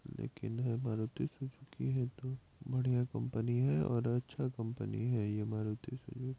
लेकिन हैं मारुति सुजुकी हैं तो बढ़िया कंपनी हैं और अच्छा कंपनी हैं ये मारुतिसीजू--